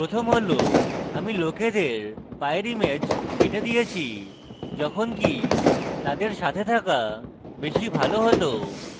প্রথম হল আমি লোকেদের পায়ের ইমেজ কেটে দিয়েছি যখনকি তাদের সাথে থাকা বেশী ভালো হত